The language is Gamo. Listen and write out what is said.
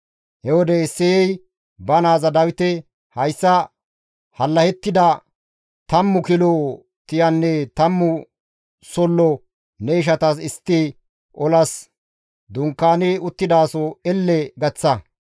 He wode Isseyey ba naaza Dawite, «Hayssa hallahettida tammu kilo tiyanne tammu sollo ne ishatas istti olas dunkaani uttidaso elle gaththa.